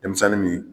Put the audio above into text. Denmisɛnnin min